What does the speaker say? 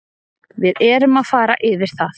Við erum að fara yfir það